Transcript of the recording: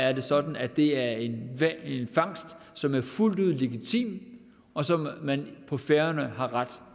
er det sådan at det er en fangst som er fuldt ud legitim og som man på færøerne har ret